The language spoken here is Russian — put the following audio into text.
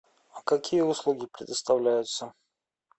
а какие услуги предоставляются